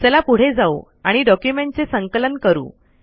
चला पुढे जावू आणि डॉक्यूमेंट चे संकलन करू